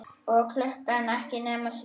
Og klukkan ekki nema þrjú.